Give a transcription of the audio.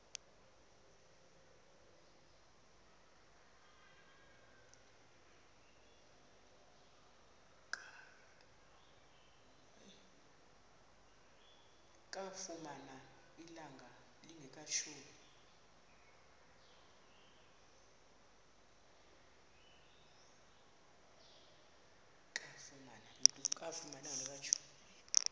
kamfumana ilanga lingekatshoni